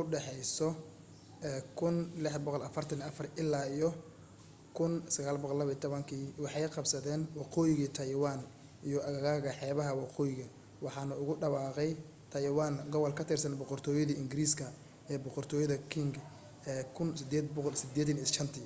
1644-1912 waxay qabsadeen waqooyiga taywaan iyo aagaga xeebaha waqooyi waxaanu ugu dhawaaqay taywaan gobol ka tirsan boqortooyada ingiriiska ee boqortooyada qing ee 1885